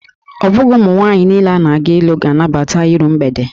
Ọ bụghị ụmụ mwaanyị niile na-aga ịlụ ga-anabata iru mgbede